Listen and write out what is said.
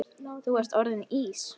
Þú ert orðinn Ís